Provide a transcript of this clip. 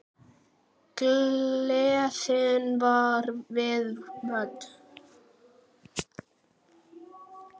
Gleðin var við völd.